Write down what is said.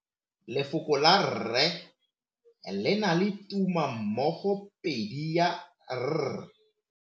Lefoko la rre le na le tumammogôpedi ya, r.